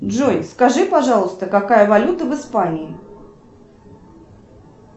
джой скажи пожалуйста какая валюта в испании